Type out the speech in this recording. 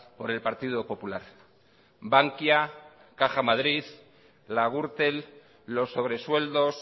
por el partido popular bankia caja madrid la gürtel los sobresueldos